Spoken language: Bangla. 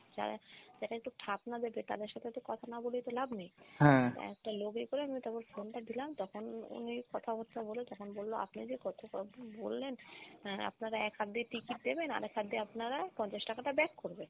তা এটা একটু ঠাপ না দেবে তাদের সাথে তো কথা না বলে তো লাভ নেই। একটা লোককে করে phone টা দিলাম তখন উনি কথাবাত্রা বলে তখন বললো আপনি যে বললেন এর আপনারা এক হাত দিয়ে ticket দেবেন আরেক হাত দিয়ে আপনারা পঞ্চাশ টাকাটা back করবেন